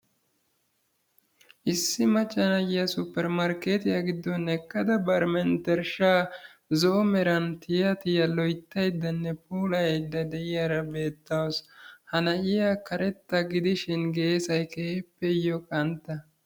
Issi macca na'iya maskkottiya bollan eqqada bari mentershshaa zo"o meran tiya tiya loyttayddanne puulayayda de'iyara beettawusu. Ha na'iya karettaa gidishin geessay keehippe iyo qantta.